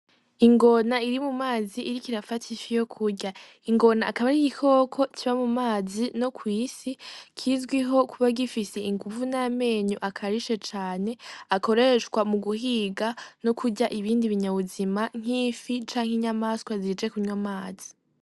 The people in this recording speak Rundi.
Ingona iri mu mazi ikaba iriko irafata ifi yo kurya ingona akaba ari igikoko kiba mu mazi no kw' isi kizwiho kuba gifise inguvu n' amenyo akarishe cane akoreshwa mu guhiga no kurya ibindi bi nyabuzima nk'ifi canke inyamaswa zije kunwa amazi.